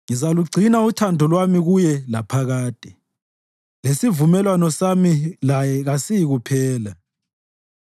Ngizalugcina uthando lwami kuye laphakade, lesivumelwano sami laye kasiyikuphela.